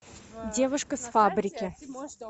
девушка с фабрики